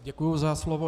Děkuji za slovo.